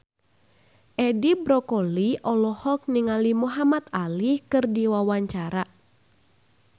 Edi Brokoli olohok ningali Muhamad Ali keur diwawancara